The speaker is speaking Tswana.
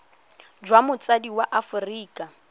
jwa motsadi wa mo aforika